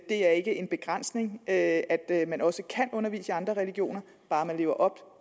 der er ikke en begrænsning i at at man også kan undervise i andre religioner bare man lever op